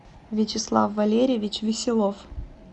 вячеслав валерьевич веселов